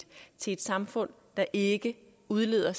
et samfund der ikke udleder